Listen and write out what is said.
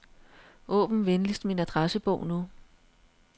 Åbn venligst min adressebog nu.